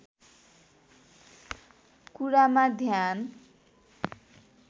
कुरामा ध्यान